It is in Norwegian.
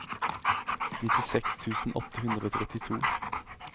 nittiseks tusen åtte hundre og trettito